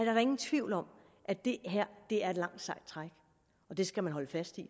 er da ingen tvivl om at det her er et langt sejt træk og det skal man holde fast i